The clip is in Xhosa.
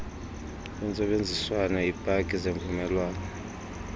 lwentsebenziswano iipaki zemvumelwano